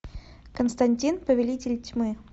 константин повелитель тьмы